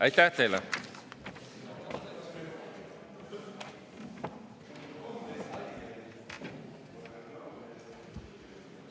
Aitäh teile!